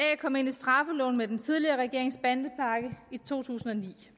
kom ind i straffeloven med den tidligere regerings bandepakke i to tusind og ni